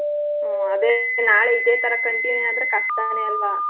ಹ್ಮ್ ಅದೇ ನಾಳೆ ಇದೇಥರಾ continue ಆದ್ರೆ ಕಷ್ಟನೆ ಅಲ್ವಾ.